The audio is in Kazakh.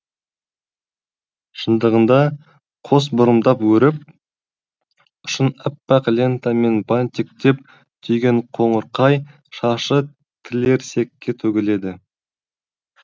шындығында қос бұрымдап өріп ұшын әппақ лентамен бантиктеп түйген қоңырқай шашы тілерсекке төгіледі